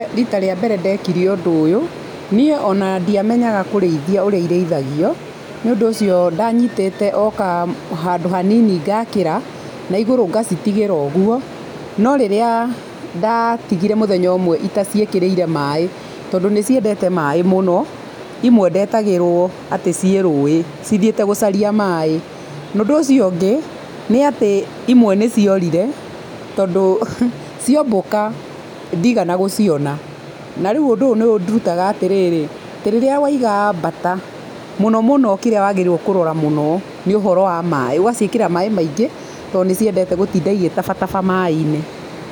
Rita rĩa mbere ndekire ũndũ ũyũ niĩ ona ndiamenyaga kũrĩithio ũrĩa irĩithagio nĩ ũndũ ũcio ndanyitĩte o handũ hanini ngakĩra na igũrũ ngacitigĩra ũguo no rĩrĩa ndathire mũthenya ũmwe itaciĩkĩrĩire maĩ tondũ nĩ ciendete maĩ mũno imwe ndetagĩrwo atĩ ciĩ rũĩ cithiĩte gũcaria maĩ, na ũndũ ũcio ũngĩ imwe nĩ ciorire tondũ ciombũka ndigana gũciona, na rĩu ũndũ nĩ ũndũtaga atĩrĩrĩ rĩrĩa waiga mbaata mũno mũno kĩrĩa wagĩrĩirwo kũrora mũno nĩ ũhoro wa maĩ, ũgaciĩkĩrĩra maĩ tondũ nĩ ciendete gũtinda cigĩtabataba maĩ.